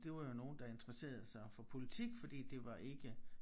Det var jo nogen der interesserede sig for politik fordi det var ikke